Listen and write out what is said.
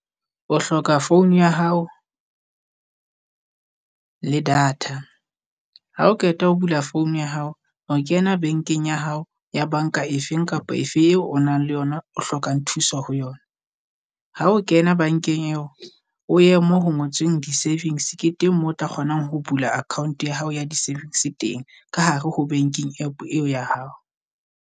O hloka phone ya hao le data, ha o qeta ho bula phone ya hao. O kena bankeng ya hao ya banka efeng kapa efe eo o nang le yona o hlokang thusa ho yona. Ha o kena bankeng eo o ye moo ho ngotsweng di-savings ke teng moo o tla kgonang ho bula account ya hao ya di-saving teng, ka hare ho banking App eo ya hao.